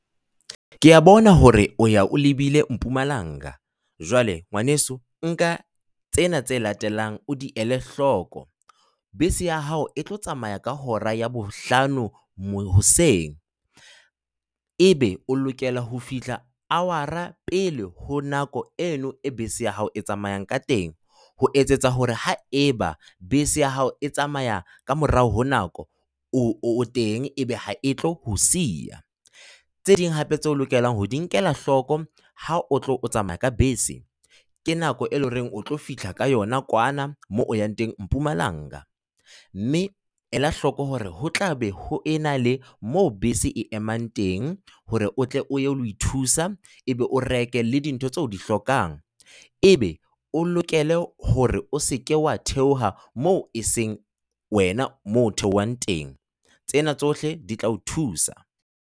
Ke a bona hore o ya o lebile Mpumalanga, jwale ngwaneso nka tsena tse latelang o di ele hloko. Bese ya hao e tlo tsamaya ka hora ya bohlano hoseng. Ebe o lokela ho fihla hour-a pele ho nako eno e bese ya hao e tsamayang ka teng, ho etsetsa hore ha eba bese ya hao e tsamaya ka morao ho nako o o teng ebe ha e tlo o siya. Tse ding hape tseo o lokelang ho di nkela hloko ha o tlo tsamaya ka bese, ke nako eo e leng hore o tlo fihla ka yona kwana moo o yang teng Mpumalang. Mme ela hloko hore ho tla be ho ena le mo bese e emang teng hore o tle o ye ho thusa, o be o reke le dintho tseo di hlokang. Ebe o lokela hore o se ke wa theoha moo e seng wena moo o theohang teng. Tsena tsohle di tla o thusa.